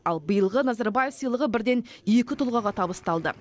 ал биылғы назарбаев сыйлығы бірден екі тұлғаға табысталды